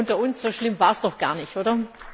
Und unter uns So schlimm war es doch gar nicht, oder?